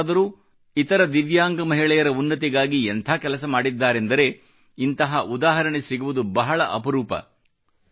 ದಿವ್ಯಾಂಗರಾದರೂ ಇತರ ದಿವ್ಯಾಂಗ ಮಹಿಳೆಯರ ಉನ್ನತಿಗಾಗಿ ಎಂಥ ಕೆಲಸ ಮಾಡಿದ್ದಾರೆಂದರೆ ಇಂತಹ ಉದಾಹರಣೆ ಸಿಗುವುದು ಬಹಳ ಅಪರೂಪ